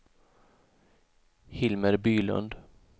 Hilmer Bylund